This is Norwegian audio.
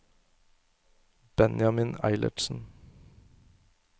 Benjamin Eilertsen